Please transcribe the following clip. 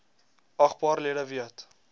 agbare lede weet